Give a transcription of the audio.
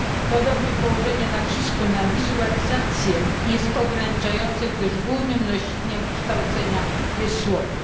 Podobnie położenie nacisku na wizualizację jest ograniczające, gdyż głównym nośnikiem kształcenia jest słowo.